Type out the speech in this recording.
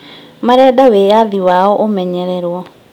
Marenda wĩyathi wao ũmenyererwo